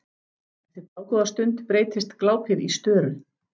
Eftir dágóða stund breytist glápið í störu.